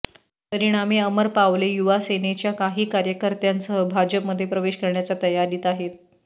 परिणामी अमर पावले युवासेनेच्या काही कार्यकर्त्यांसह भाजपमध्ये प्रवेश करण्याच्या तयारीत आहेत